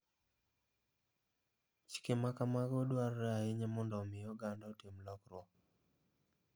Chike ma kamago dwarore ahinya mondo omi oganda otim lokruok.